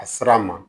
A sera a ma